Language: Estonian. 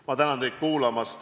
Ma tänan teid kuulamast!